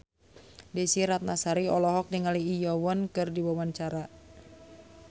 Desy Ratnasari olohok ningali Lee Yo Won keur diwawancara